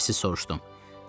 Çox həvəssiz soruşdum.